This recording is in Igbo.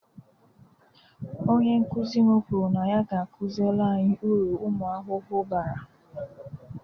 Onye nkụzi m kwụrụ na ya ga-akụziri anyi uru umu ahụhụ bara